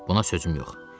buna sözüm yox.